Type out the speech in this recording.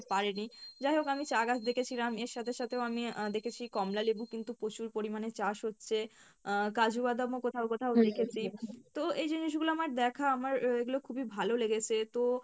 পারেনি যায় হোক আমি চা গাছ দেখেছিলাম এর সাথে সাথেও আমি আহ দেখেছি কমলালেবু কিন্তু প্রচুর পরিমাণে চাষ হচ্ছে আহ কাজু বাদাম ও কোথাও কোথাও দেখেছি তো এই জিনিস গুলো আমার দেখা আমার আহ এগুলো খুবিই ভালো লেগেছে তো